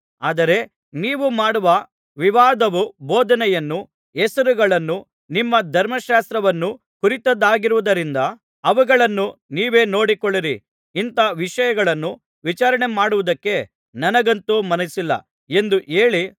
ಆದರೆ ನೀವು ಮಾಡುವ ವಿವಾದವು ಬೋಧನೆಯನ್ನೂ ಹೆಸರುಗಳನ್ನೂ ನಿಮ್ಮ ಧರ್ಮಶಾಸ್ತ್ರವನ್ನೂ ಕುರಿತದ್ದಾಗಿರುವುದರಿಂದ ಅವುಗಳನ್ನು ನೀವೇ ನೋಡಿಕೊಳ್ಳಿರಿ ಇಂಥ ವಿಷಯಗಳನ್ನು ವಿಚಾರಣೆಮಾಡುವುದಕ್ಕೆ ನನಗಂತೂ ಮನಸ್ಸಿಲ್ಲ ಎಂದು ಹೇಳಿ